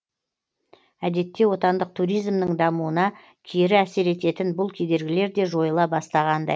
әдетте отандық туризмнің дамуына кері әсер ететін бұл кедергілер де жойыла бастағандай